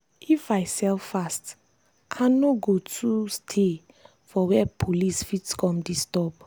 if i sell fast i no go too stay for where police fit come disturb.